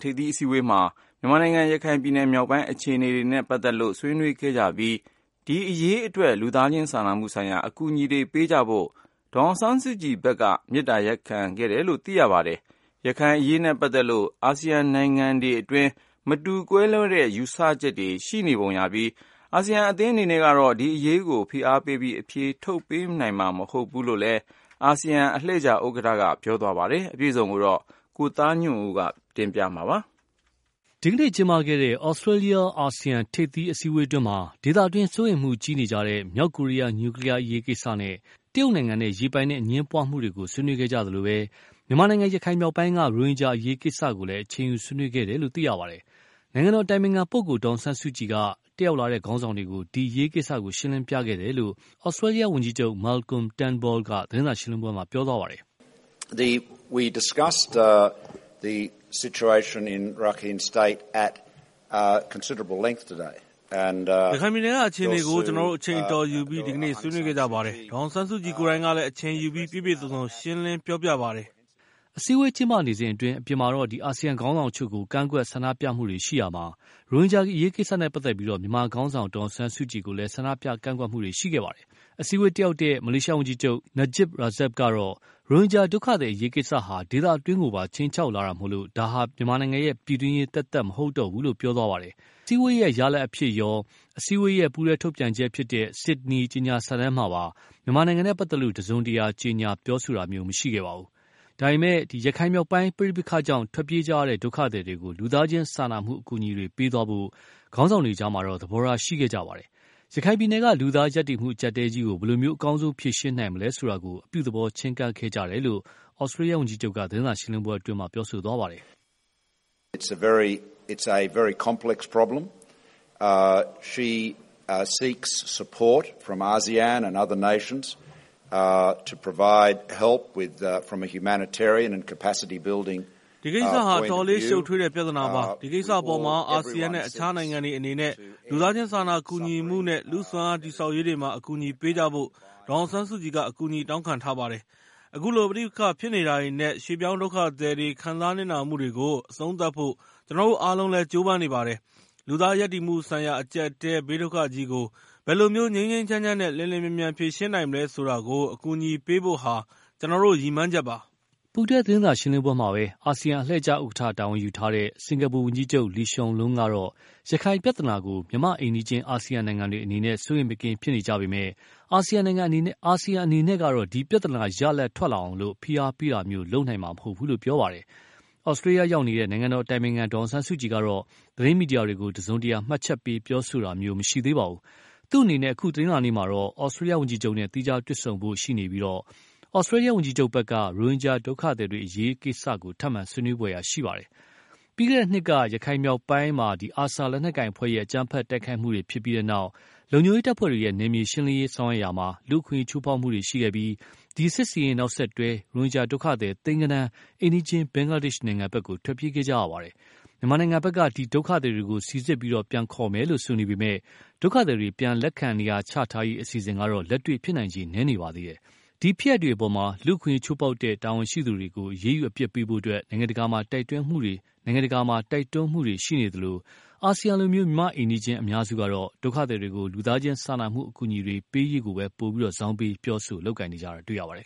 ထိပ်သီးအစည်းအဝေးမှာ မြန်မာနိုင်ငံ ရခိုင်ပြည်နယ်မြောက်ပိုင်းအခြေအနေတွေနဲ့ပတ်သက်လို့ ဆွေးနွေးခဲ့ကြပြီး၊ ဒီအရေးအတွက် လူသားချင်းစာနာမှုဆိုင်ရာ အကူအညီတွေ ပေးကြဖို့ ဒေါ်အောင်ဆန်းစုကြည်ဖက်ကလည်း မေတ္တာရပ်ခံခဲ့တယ်လို့ သိရပါတယ်။ ရခိုင်မြောက်ပိုင်းအရေးနဲ့ပတ်သက်လို့ အာဆီယံနိုင်ငံတွေအတွင်း မတူကွဲလွဲတဲ့ ယူဆချက်တွေရှိပုံရပြီး၊ အာဆီယံအသင်းအနေနဲ့ကတော့ ဒီအရေးကို ဖိအားပေးပြီး အဖြေထုတ်ပေးနိုင်မှာမဟုတ်ဘူးလို့လည်း အာဆီယံအလှည့်ကျ ဥက္ကဌက ပြောဆိုခဲ့ပါတယ်။ အပြည့်အစုံကိုတော့ ကိုသားညွန့်ဦး ပြောပြမှာပါ။ ဒီကနေ့ ကျင်းပခဲ့တဲ့ သြစတေးလျအာဆီယံ ထိပ်သီးအစည်းအဝေးအတွင်းမှာတော့ ဒေသတွင်းစိုးရိမ်မှုကြီးနေတဲ့ မြောက်ကိုရီယား နျူကလီယားကိစ္စနဲ့ တရုတ်နိုင်ငံနဲ့ရေပိုင်နက်အငြင်းပွားမှုတွေ ဆွေးနွေးခဲ့ကြသလို၊ မြန်မာနိုင်ငံ ရခိုင်မြောက်ပိုင်းက ရိုဟင်ဂျာအရေးကိစ္စကိုလည်း အချိန်ယူဆွေးနွေးခဲ့တယ်လို့ သိရပါတယ်။ နိုင်ငံတော်အတိုင်ပင်ခံပုဂ္ဂိုလ်ဒေါ်အောင်ဆန်းစုကြည်က တတ်လာတဲ့ ခေါင်းဆောင်တွေကို ဒီအရေးကိစ္စ ရှင်းလင်းပြခဲ့တယ်လို့ သြစတေးလျ ဝန်ကြီးချုပ် Moalcolm Turnbull က သတင်းစာရှင်းလင်းပွဲမှာ ပြောသွားပါတယ်။ “ရခိုင်ပြည်နယ်က အခြေအနေကို ကျနော်တို့ အချိန်အတော်ယူပြီး ဒီကနေ့ ဆွေးနွေးခဲ့ကြပါတယ်။ ဒေါ်အောင်ဆန်းစုကြည်ကိုယ်တိုင်ကလည်း အချိန်ယူပြီး ပြည့်ပြည့်စုံစုံ ရှင်းလင်းပြောပြပါတယ်။” အစည်းအဝေးကျင်းပနေစဉ်အတွင်း အပြင်မှာ အာဆီယံခေါင်းဆောင်အချို့ကို ဆန္ဒပြကန့်ကွက်တွေရှိရာမှာ၊ ရိုဟင်ဂျာအရေးကိစ္စနဲ့ပတ်သက်လို့ မြန်မာခေါင်းဆောင်ဒေါ်အောင်ဆန်းစုကြည်ကိုလည်း ဆန္ဒပြကန့်ကွက်မှုတွေရှိခဲ့ပါတယ်။ အစည်းအဝေးတတ်ရောက်တဲ့ မလေးရှားဝန်ကြီးချုပ် Najib Razak ကတော့ ရိုဟင်ဂျာဒုက္ခသည်အရေးကိစ္စဟာ ဒေသတွင်းကိုပါ ခြိမ်းခြောက်လာတာမို့ ဒါဟာ ပြည်တွင်းရေးသက်သက်မဟုတ်တော့ဘူးလို့ ပြောခဲ့ပါတယ်။ ဒါပေမယ့်လည်း အစည်းအဝေးရဲ့ ရလဒ်အဖြစ်ရော၊ အစည်းအဝေးရဲ့ ပူးတွဲထုတ်ပြန်ချက်ဖြစ်တဲ့ Sydney ကြေညာစာတမ်းမှာပဲ မြန်မာနဲ့ပတ်သက်လို့ တစုံတရာ ကြေညာပြောဆိုတာမျိုးမရှိခဲ့ပါဘူး။ ဒါပေမယ့်လို့ ရခိုင်မြောက်ပိုင်းပဋိပက္ခကြောင့် ထွက်ပြေးကြရတဲ့ ဒုက္ခသည်တွေကို လူသားချင်းစာနာမှုအကူအညီတွေပေးသွားဖို့ ခေါင်းဆောင်တွေအကြား သဘောထားရှိခဲ့ကြပါတယ်။ ရခိုင်ပြည်နယ်က လူသားရပ်တည်မှုအကြပ်အတည်းကြီးကို ဘယ်လို အကောင်းဆုံးဖြေရှင်းနိုင်မလဲဆိုတာကို အပြုသဘောချည်းကပ်ခဲ့ကြတယ်လို့ သြစတေးလျဝန်ကြီးချုပ်က ပြောသွားပါတယ်။ “ဒီကိစ္စဟာ အတော်လေး ရှုပ်ထွေးတဲ့ ပြဿနာပါ။ ဒီကိစ္စအပေါ်မှာ အာဆီယံနဲ့ အခြားနိုင်ငံတွေအနေနဲ့ လူသားချင်းစာနာကူညီမှုနဲ့ လူစွမ်းအားတည်ဆောက်ရေးတွေမှာ အကူအညီပေးကြဖို့ ဒေါ်အောင်ဆန်းစုကြည်က အကူအညီတောင်းခံထားပါတယ်။ အခုလို ပဋိပက္ခဖြစ်နေတာတွေနဲ့ ရွေ့ပြောင်းဒုက္ခသည်တွေ ခံစားနစ်နာမှုတွေကို အဆုံးသတ်ဖို့ ကျနော်တို့အားလုံးလည်း ကြိုးပမ်းနေပါတယ်။ လူသားရပ်တည်မှုဆိုင်ရာ အကြပ်အတည်းဘေးဒုက္ခသည်ကြီးကို ဘယ်လိုမျိုး ငြိမ်းငြိမ်းချမ်းချမ်းနဲ့ လျှင်လျှင်မြန်မြန်ဖြေရှင်းနိုင်မလဲဆိုတာကို အကူအညီပေးဖို့ဟာ ကျနော်တို့ ရည်မှန်းချက်ပါ။” ပူးတွဲ သတင်းစာရှင်းလင်းပွဲမှာပဲ အာဆီယံအလှည့်ကျဥက္ကဌ တာဝန်ယူထားတဲ့စင်္ကာပူဝန်ကြီးချုပ် Lee Hsein Loong ကတော့ ရခိုင်ပြဿနာကို မြန်မာ့အိမ်နီးချင်း အာဆီယံနိုင်ငံတွေအနေနဲ့ စိုးရိမ်မကင်းဖြစ်နေကြပေမယ့်လည်း၊ အာဆီယံအနေနဲ့ကတော့ ဒီပြဿနာ ရလဒ်ထွက်လာအောင် ဖိအားပေးတာမျိုး လုပ်နိုင်မှာမဟုတ်ဘူးလို့ ပြောသွားပါတယ်။ သြစတေးလျ ရောက်နေတဲ့ နိုင်ငံတော်အတိုင်ပင်ခံဒေါ်အောင်ဆန်းစုကြည်ကတော့ သတင်းမီဒီယာတွေကိုတစုံတရာ မှတ်ချက်ပေး ပြောဆိုတာမျိုး မရှိသေးပါဘူး။ သူ့အနေနဲ့ အခု တနင်္လာနေ့မှာတော့ သြစတေးလျ ဝန်ကြီးချုပ်နဲ့ သီးခြားတွေ့ဆုံဖို့ရှိနေပြီး၊ သြစတေးလျ ဝန်ကြီးချုပ်ဖက်က ရိုဟင်ဂျာဒုက္ခသည်တွေအရေး ထပ်မံ ဆွေးနွေးဖွယ်ရှိနေပါတယ်။ ပြီးခဲ့တဲ့နှစ်က ရခိုင်မြောက်ပိုင်းမှာ ARSA လက်နက်ကိုင်အဖွဲ့ရဲ့ အကြမ်းဖက်တိုက်ခိုက်မှုတွေဖြစ်ပြီးနောက် လုံခြုံရေးတပ်ဖွဲ့တွေရဲ့ နယ်မြေရှင်းလင်းရေးဆောင်ရွက်ရာမှာ လူ့အခွင့်အရေးချိုးဖောက်မှုတွေရှိခဲ့ပြီး၊ ဒီစစ်ဆင်ရေးနောက်ဆက်တွဲ ရိုဟင်ဂျာဒုက္ခသည် သိန်းဂဏန်း အိမ်နီးချင်း ဘင်္ဂလားဒေ့ရ်ှနိုင်ငံဖက် ထွက်ပြေးခဲ့ရပါတယ်။ မြန်မာဖက်က ဒီဒုက္ခသည်တွေကို စီစစ်ပြန်ခေါ်မယ်လို့ဆိုနေပေမယ့်၊ ဒုက္ခသည်တွေ ပြန်လက်ခံနေရာချထားရေးအစီအစဉ်ကတော့ လက်တွေ့ဖြစ်နိုင်ချေ နည်းနေပါသေးတယ်။ ဒီအပေါ်မှာ လူ့အခွင့်အရေးချိုးဖောက်တဲ့ တာဝန်ရှိသူတွေကို အရေးယူအပြစ်ပေးဖို့ နိုင်ငံတကာမှာ တိုက်တွန်းမှုတွေရှိနေသလို၊ အာဆီယံလို မြန်မာအိမ်နီးချင်းအများစုကတော့ ဒုက္ခသည်တွေကို လူသားချင်းစာနာမှုအကူအညီတွေပေးရေးကို ပိုပြီး ဇောင်းပေး ပြောဆို လုပ်ကိုင်ကြတာတွေ့ရပါတယ်